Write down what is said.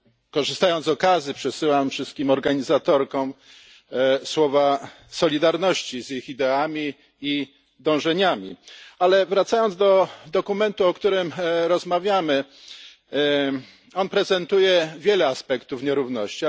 Korzystając z okazji, przesyłam wszystkim organizatorkom słowa solidarności z ich ideami i dążeniami, ale wracając do dokumentu, o którym rozmawiamy, prezentuje on wiele aspektów nierówności.